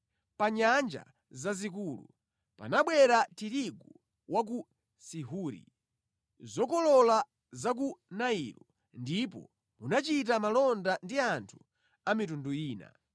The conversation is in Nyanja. Pa nyanja zazikulu panabwera tirigu wa ku Sihori; zokolola za ku Nailo, ndipo munachita malonda ndi anthu a mitundu ina.